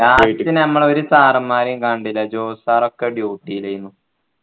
നമ്മളൊരു sir മാരെയും കണ്ടില്ല ജോസ് sir ഒക്കെ duty യിലെന്നു